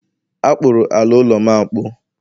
A kpụrụ ala ụlọ'm akpụ